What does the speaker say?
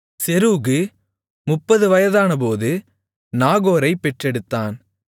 செரூகு முப்பது 30 நாகோரைப் பெற்றெடுத்தான்